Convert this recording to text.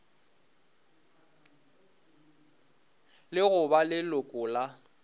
le go ba leloko la